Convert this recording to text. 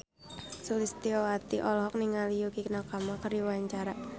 Sulistyowati olohok ningali Yukie Nakama keur diwawancara